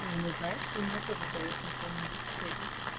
не ну знаешь ли у меня тоже голос не самый лучший